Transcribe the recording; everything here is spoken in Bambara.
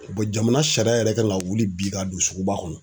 jamana sariya yɛrɛ kan ka wuli bi ka don suguba kɔnɔ